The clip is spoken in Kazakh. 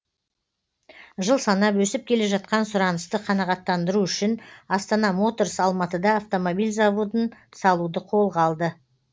жыл санап өсіп келе жатқан сұранысты қанағаттандыру үшін астана моторс алматыда автомобиль заводын салуды қолға алды